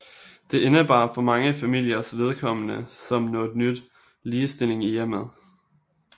Det indebar for mange familiers vedkommende som noget nyt ligestilling i hjemmet